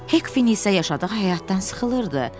Hekfin isə yaşadığı həyatdan sıxılırdı.